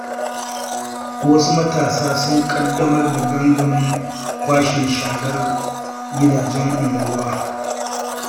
Wasu matasa sun ƙaddamar da gangamin kwashe sharar gidajen unguwa.